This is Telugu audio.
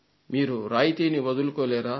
మీరు రాయితీని వదులుకోలేరా